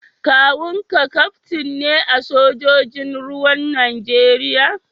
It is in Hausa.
kawun ka kaftin ne a sojojin ruwan Najeriya?